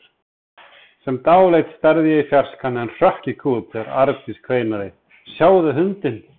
Sem dáleidd starði ég í fjarskann en hrökk í kút þegar Arndís kveinaði: Sjáðu hundinn!